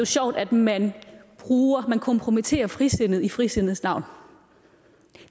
sjovt at man kompromitterer frisindet i frisindets navn